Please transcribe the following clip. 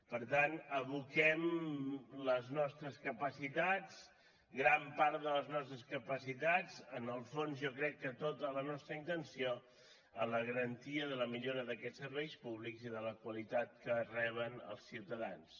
per tant aboquem les nostres capacitats gran part de les nostres capacitats en el fons jo crec que tota la nostra intenció en la garantia de la millora d’aquests serveis públics i de la qualitat que reben els ciutadans